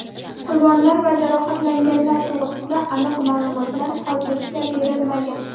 Qurbonlar va jarohatlanganlar to‘g‘risida aniq ma’lumotlar hozircha berilmagan.